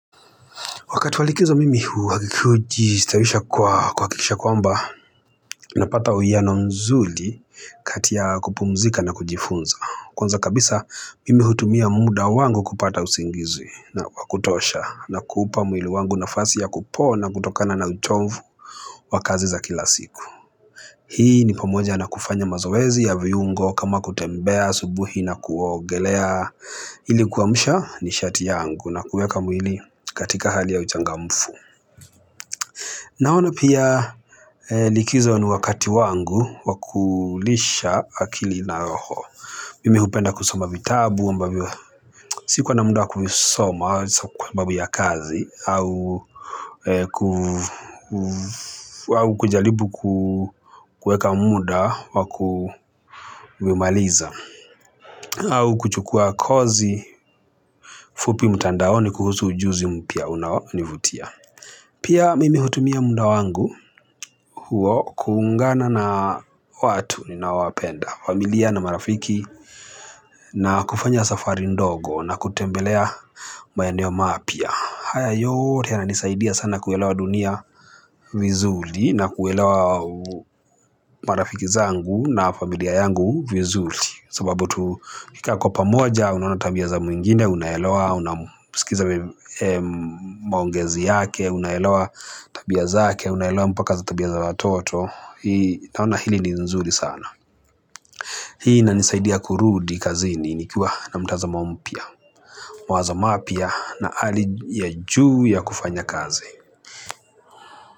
Wakati wa likizo mimi hujistawisha kwa kuhakikisha kwamba unapata uwiano mzuri kati ya kupumzika na kujifunza. Kwanza kabisa mimi hutumia muda wangu kupata usingizi na wa kutosha na kuupa mwili wangu nafasi ya kupona kutokana na uchovu wa kazi za kila siku. Hii ni pamoja na kufanya mazoezi ya viungo kama kutembea asubuhi na kuogelea ili kuamsha nishati yangu na kuweka mwili katika hali ya uchangamfu. Naona pia likizo ni wakati wangu wa kulisha akili na roho. Mimi hupenda kusoma vitabu ambavyo sikuwa na muda wa kuvisoma kwa sababu babu ya kazi au kujaribu kueka muda wa kumaliza au kuchukua kozi fupi mtandaoni kuhusu ujuzi mpya unaonivutia. Pia mimi hutumia muda wangu huo kuungana na watu ninawapenda. Familia na marafiki na kufanya safari ndogo na kutembelea maeneo mapya. Haya yote yananisaidia sana kuelewa dunia vizuri na kuelewa marafiki zangu na familia yangu vizuri sababu tukikaa kwa pamoja, unaona tabia za mwingine, unaelewa, unamsikiza maongezi yake, unaelewa tabia zaake, unaelewa mpaka za tabia za watoto naona hili ni nzuri sana hii inanisaidia kurudi kazini nikiwa na mtazamo mpya mawazo mapya na hali ya juu ya kufanya kazi.